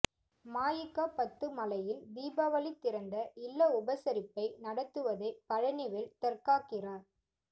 மஇகா பத்து மலையில் தீபாவளி திறந்த இல்ல உபசரிப்பை நடத்துவதை பழனிவேல் தற்காக்கிறார்